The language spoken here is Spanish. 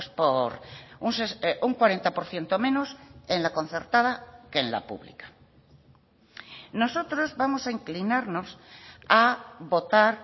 por un cuarenta por ciento menos en la concertada que en la pública nosotros vamos a inclinarnos a votar